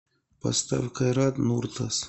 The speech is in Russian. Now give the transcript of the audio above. поставь кайрат нуртас